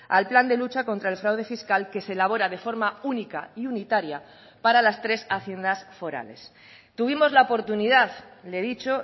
al plan de lucha contra el fraude fiscal que se elabora de forma única y unitaria para las tres haciendas forales tuvimos la oportunidad le he dicho